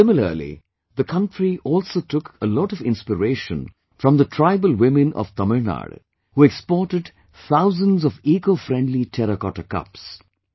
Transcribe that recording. Similarly, the country also took a lot of inspiration from the tribal women of Tamil Nadu, who exported thousands of EcoFriendly Terracotta Cups